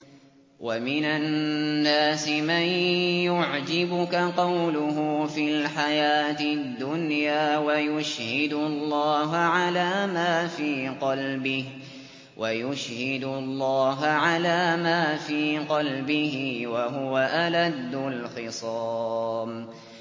وَمِنَ النَّاسِ مَن يُعْجِبُكَ قَوْلُهُ فِي الْحَيَاةِ الدُّنْيَا وَيُشْهِدُ اللَّهَ عَلَىٰ مَا فِي قَلْبِهِ وَهُوَ أَلَدُّ الْخِصَامِ